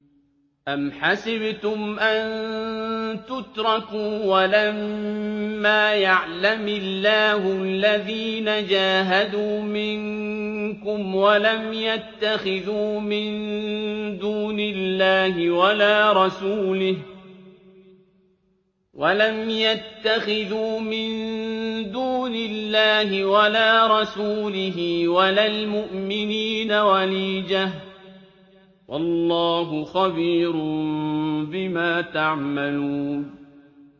أَمْ حَسِبْتُمْ أَن تُتْرَكُوا وَلَمَّا يَعْلَمِ اللَّهُ الَّذِينَ جَاهَدُوا مِنكُمْ وَلَمْ يَتَّخِذُوا مِن دُونِ اللَّهِ وَلَا رَسُولِهِ وَلَا الْمُؤْمِنِينَ وَلِيجَةً ۚ وَاللَّهُ خَبِيرٌ بِمَا تَعْمَلُونَ